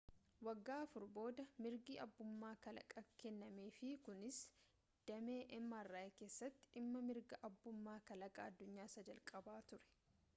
waggaa afur booda mirgi abbummaa kalaqaa kennameef kunis damee mri keessatti dhimma mirga abbummaa kalaqaaa addunyaa isa jalqabaa ture